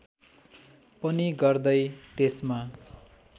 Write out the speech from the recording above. पनि गर्दै त्यसमा